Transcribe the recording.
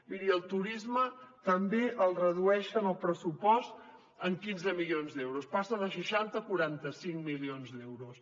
miri el turisme també el redueixen al pressupost en quinze milions d’euros passa de seixanta a quaranta cinc milions d’euros